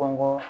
Kɔnkɔ